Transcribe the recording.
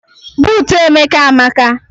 Buutu Emeka amaka.